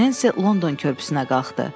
Nensi London körpüsünə qalxdı.